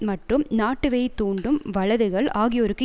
மற்றும் நாட்டுவெறி தூண்டும் வலதுகள் ஆகியோருக்கு